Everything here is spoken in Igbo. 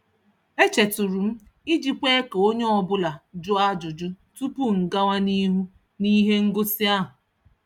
E chetụrụ m iji kwe ka onye ọbụla jụọ ajụjụ tupu m gawa n'ihu n'ihe ngosi ahụ.